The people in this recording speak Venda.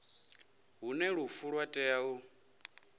hune lufu lwa tea u